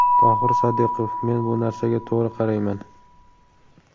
Tohir Sodiqov: Men bu narsaga to‘g‘ri qarayman.